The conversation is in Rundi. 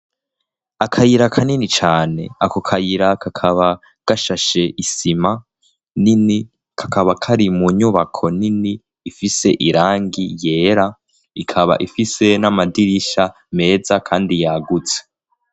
Akayira kanini cane ako kayira kakaba gashashe isima nini kakaba kari mu nyubako nini ifise irangi yera ikaba ifise n'amadirisha meza, kandi yaguse.